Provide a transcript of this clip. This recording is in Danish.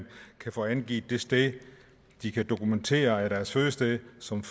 kan få angivet det sted de kan dokumentere er deres fødested som